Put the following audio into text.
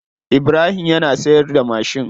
Ibrahim yana siyarda mashin.